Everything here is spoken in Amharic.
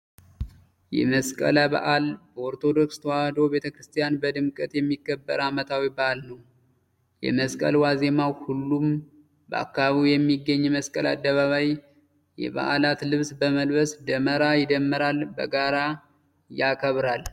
የመስቀል በዓል በኦርቶዶክስ ተዋሕዶ ቤተክርስቲያን በድምቀት የሚከበር አመታዊ በዓል ነው። የመስቀል ዋዜማ ሁሉም በአካባቢው በሚገኝ የመስቀል አደባባይ የበዓላት ልብስ በመልበስ ደመራ ይደምራል በጋራ ያከብራል።